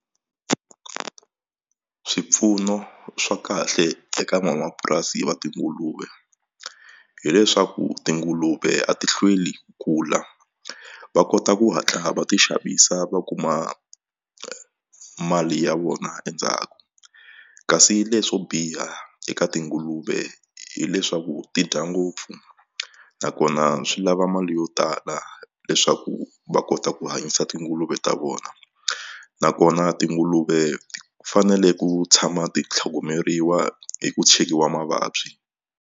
Swipfuno swa kahle eka nwanamapurasi va tinguluve hileswaku tinguluve a ti hlweli ku kula va kota ku hatla va ti xavisa va kuma mali ya vona endzhaku kasi leswo biha eka tinguluve hileswaku ti dya ngopfu nakona swi lava mali yo tala leswaku va kota ku hanyisa tinguluve ta vona nakona tinguluve fanele ku tshama ti tlhogomeriwa hi ku chekiwa mavabyi.